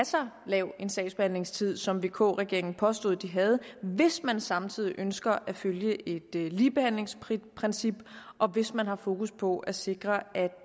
så lav sagsbehandlingstid som vk regeringen påstod at de havde hvis man samtidig ønsker at følge et ligebehandlingsprincip og hvis man har fokus på at sikre at